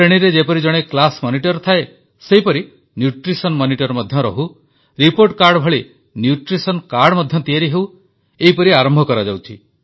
ଶ୍ରେଣୀରେ ଯେପରି ଜଣେ କ୍ଲାସ୍ ମନିଟର୍ ଥାଏ ସେହିପରି ନ୍ୟୁଟ୍ରିସନ୍ ମନିଟର ମଧ୍ୟ ରହୁ ରିପୋର୍ଟ କାର୍ଡ ଭଳିò ନ୍ୟୁଟ୍ରିସନ୍ କାର୍ଡ ମଧ୍ୟ ତିଆରି ହେଉ ଏହିପରି ଆରମ୍ଭ କରାଯାଉଛି